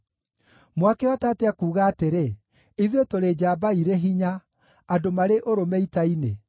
“Mwakĩhota atĩa kuuga atĩrĩ, ‘Ithuĩ tũrĩ njamba irĩ hinya, andũ marĩ ũrũme ita-inĩ’?